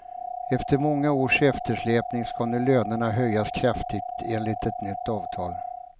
Efter många års eftersläpning ska nu lönerna höjas kraftigt, enligt ett nytt avtal.